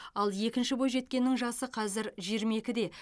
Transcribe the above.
ал екінші бойжеткеннің жасы қазір жиырма екіде